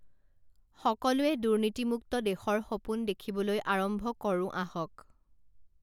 সকলোৱে দুৰ্নীতিমুক্ত দেশৰ সপোন দেখিবলৈ আৰম্ভ কৰোঁ আহক।